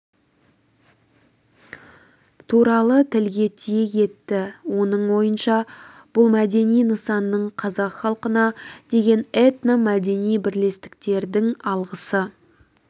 туралы тілге тиек етті оның ойынша бұл мәдени нысан қазақ халқына деген этно-мәдени бірлестіктердің алғысы